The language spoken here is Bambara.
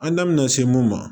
An da mɛna se mun ma